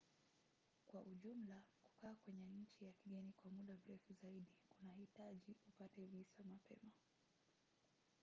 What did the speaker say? kwa ujumla kukaa kwenye nchi ya kigeni kwa muda mrefu zaidi kunahitaji upate visa mapema